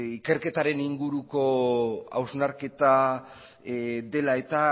ikerketaren inguruko hausnarketa dela eta